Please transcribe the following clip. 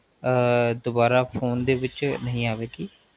ਅਰ ਦੋਬਾਰਾ Phone ਦੇ ਵਿੱਚ ਨਹੀ ਆਵੇਗੀ